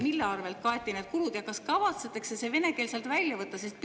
Mille arvelt kaeti need kulud ja kas kavatsetakse vene keel sealt välja võtta?